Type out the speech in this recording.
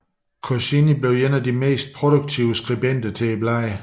Goscinny blev en af de mest produktive skribenter til bladet